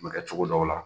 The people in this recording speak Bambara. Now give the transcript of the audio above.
Bɛ kɛ cogo dɔw la